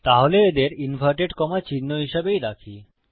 তাহলে এদের inverted comma চিহ্ন হিসাবেই রাখি